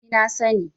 ni na sani